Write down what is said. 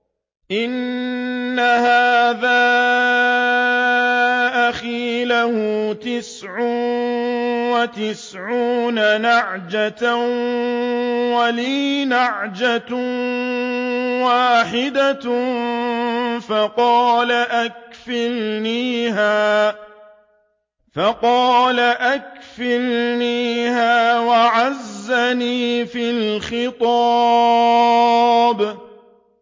إِنَّ هَٰذَا أَخِي لَهُ تِسْعٌ وَتِسْعُونَ نَعْجَةً وَلِيَ نَعْجَةٌ وَاحِدَةٌ فَقَالَ أَكْفِلْنِيهَا وَعَزَّنِي فِي الْخِطَابِ